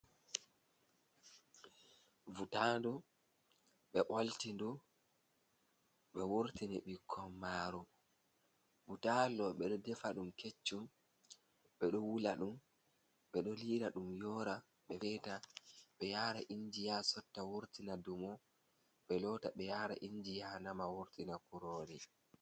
Vutandu, ɓe ɓolti ndu, ɓe wurtini bikon maru. Butaali ɗo ɓe ɗo defa ɗum keccum, ɓe ɗo wula ɗum, ɓe ɗo liira ɗum yoora, feeta, be yara inji ya sotta wurtina dumo. Ɓe lota ɓe yara inji ya nama wurtina kurori.